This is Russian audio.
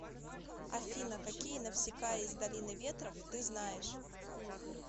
афина какие навсикая из долины ветров ты знаешь